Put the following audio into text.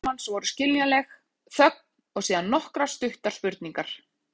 Fyrstu viðbrögð Hermanns voru skiljanleg, þögn og síðan nokkrar stuttar spurningar.